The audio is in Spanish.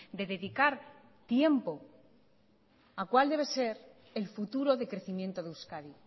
de dedicar tiempo a cuál debe ser el futuro de crecimiento de euskadi